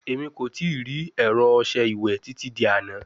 Emi ko tii ri ẹrọ ọṣẹ iwẹ titi di ana